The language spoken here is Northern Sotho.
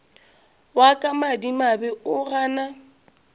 wa ka madimabe o gana